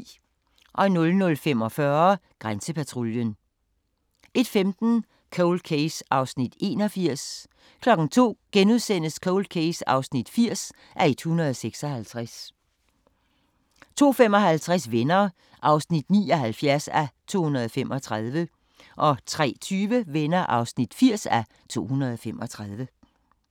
00:45: Grænsepatruljen 01:15: Cold Case (81:156) 02:00: Cold Case (80:156)* 02:55: Venner (79:235) 03:20: Venner (80:235)